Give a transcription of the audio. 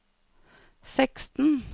seksten